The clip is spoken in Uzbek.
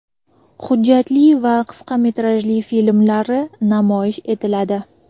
hujjatli va qisqa metrajli filmlari namoyish etiladi.